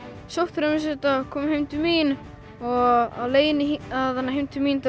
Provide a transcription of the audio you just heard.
sótthreinsuðum þetta komum heim til mín og á leiðinni heim til mín